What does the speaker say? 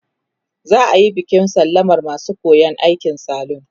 za'ayi bikin sallamar masu koyan aikin salun